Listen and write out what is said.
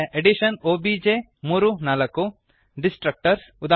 addition obj3 4 distractors ಉದಾ